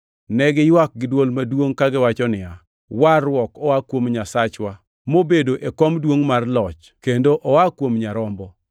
Ne giywak giduol maduongʼ kagiwacho niya, “Warruok oa kuom Nyasachwa mobedo e kom duongʼ mar loch kendo oa kuom Nyarombo.”